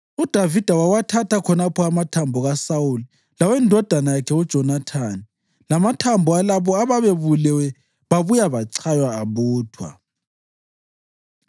UDavida wawathatha khonapho amathambo kaSawuli lawendodana yakhe uJonathani, lamathambo alabo ababebulawe babuye bachaywa abuthwa.